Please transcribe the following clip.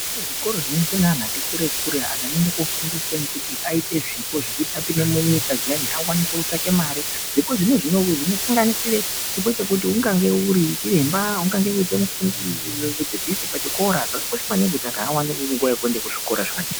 Zvikoro zvinoendwe neanhu ati kure kure anhu anoende kofundiswa kuti aite zvipo zvekuti apinde munyika zviyani akwanise kutasvake mare zvipo zvino zvinosanganisire chipo chekuti ungange uri achiremba ,ungange uri mudzidzisi pachikora zvakakosha maningi kuti anhu awane nguwa yekuendekuzvikora zvakadai.